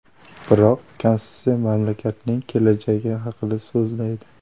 Biroq konstitutsiya mamlakatning kelajagi haqida so‘zlaydi.